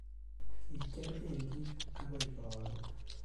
kikier benkit akoi karon